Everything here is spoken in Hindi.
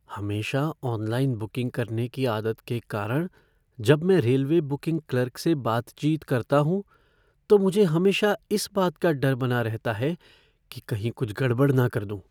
हमेशा ऑनलाइन बुकिंग करने की आदत के कारण जब मैं रेलवे बुकिंग क्लर्क से बातचीत करता हूँ तो मुझे हमेशा इस बात का डर बना रहता है कि कहीं कुछ गड़बड़ न कर दूँ।